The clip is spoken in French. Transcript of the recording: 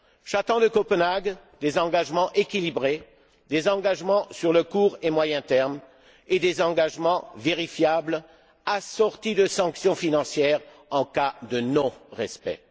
J'attends de Copenhague des engagements équilibrés, des engagements sur le court et moyen terme, et des engagements vérifiables, assortis de sanctions financières en cas de non respect.